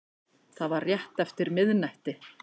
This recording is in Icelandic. Það var rétt eftir miðnætti